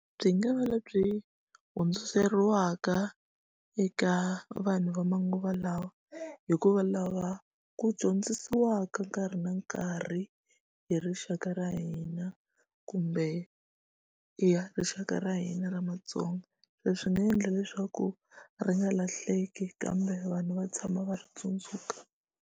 Byi nga va lebyi hundziseriwaka eka vanhu va manguva lawa hikuva lava ku dyondzisiwaka nkarhi na nkarhi hi rixaka ra hina kumbe i ya rixaka ra hina ra Matsonga so swi nga endla leswaku ri nga lahleki kambe vanhu va tshama va ri tsundzuka.